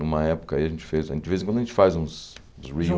Numa época aí a gente fez, de vez em quando a gente faz uns uns